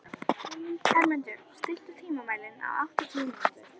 Hermundur, stilltu tímamælinn á áttatíu mínútur.